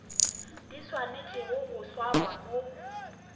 di swanetšego go swarwa mo